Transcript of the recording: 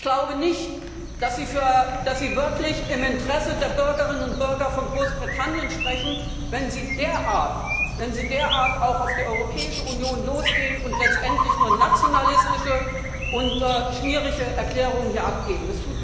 Ich glaube nicht, dass Sie wirklich im Interesse der Bürgerinnen und Bürger von Großbritannien sprechen, wenn Sie derart auf die Europäische Union losgehen und letztendlich nur nationalistische und schmierige Erklärungen hier abgeben.